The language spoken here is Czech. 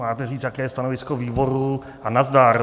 Máte říct, jaké je stanovisko výborů, a nazdar!